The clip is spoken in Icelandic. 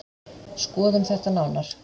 Skoðum þetta nánar.